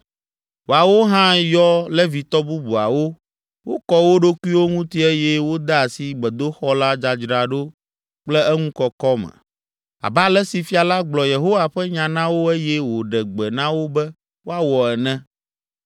Woawo hã yɔ Levitɔ bubuawo, wokɔ wo ɖokuiwo ŋuti eye wode asi gbedoxɔ la dzadzraɖo kple eŋu kɔkɔ me, abe ale si fia la gblɔ Yehowa ƒe nya na wo eye wòɖe gbe na wo be woawɔ ene.